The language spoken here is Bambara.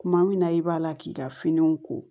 Kuma min na i b'a la k'i ka finiw ko